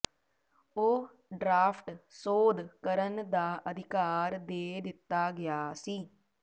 ਉਹ ਡਰਾਫਟ ਸੋਧ ਕਰਨ ਦਾ ਅਧਿਕਾਰ ਦੇ ਦਿੱਤਾ ਗਿਆ ਸੀ